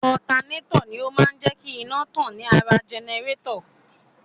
Otaneto ni ó máa ń jé kí iná tàn ní ara jẹnẹrétọ̀.